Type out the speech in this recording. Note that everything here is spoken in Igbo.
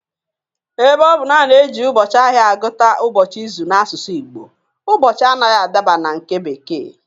Ebe ọ bụ na a na-eji ụbọchị ahịa agụta ụbọchị izu n'asụsụ Igbo, ụbọchị anaghị adaba na nke bekee